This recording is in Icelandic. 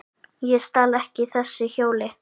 Ég stal ekki þessu hjóli!